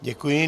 Děkuji.